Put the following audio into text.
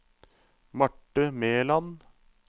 Marthe Meland